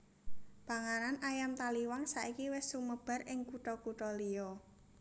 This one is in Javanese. Panganan ayam taliwang saiki wis sumebar ing kutha kutha liya